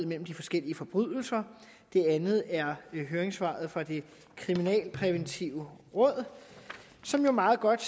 mellem de forskellige forbrydelser det andet er høringssvaret fra det kriminalpræventive råd som meget godt